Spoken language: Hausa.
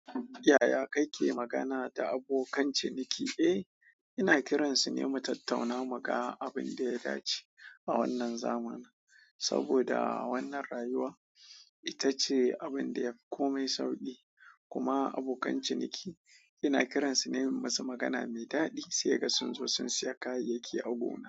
Yaya kake magana da abokan ciniki? Eh, ina kiransu ne mu tattauna muganl abun da ya dace a wannan zamani. Saboda wannan rayuwa ita ce abun da yaf komai sauƙi. Kuma abokan ciniki ina kiransu ne im masu magana mai daɗi sai ga sun zo sun siya kayayyaki a gona.